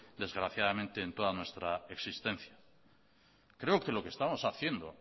desgraciadamente en toda nuestra existencia creo que lo que estamos haciendo